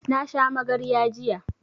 Na sha magarya jiya